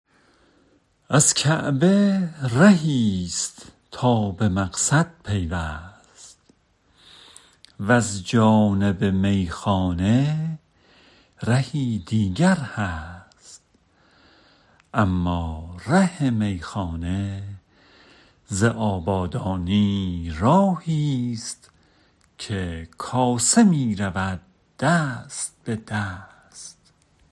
از کعبه رهی ست تا به مقصد پیوست وز جانب میخانه رهی دیگر هست اما ره میخانه ز آبادانی راهی ست که کاسه می رود دست به دست